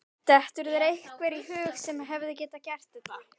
Dettur þér einhver í hug sem hefði getað gert þetta?